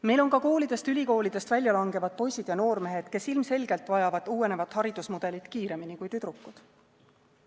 Meil on ka koolidest-ülikoolidest välja langevad poisid ja noormehed, kes ilmselgelt vajavad uuenevat haridusmudelit kiiremini kui tüdrukud.